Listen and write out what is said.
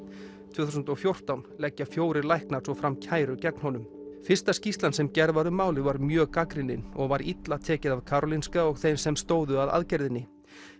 tvö þúsund og fjórtán leggja fjórir læknar svo fram kæru gegn honum fyrsta skýrslan sem gerð var um málið var mjög gagnrýnin og var illa tekið af Karolinska og þeim sem stóðu að aðgerðinni